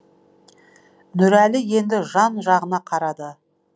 нұрәлі енді жан жағына қарады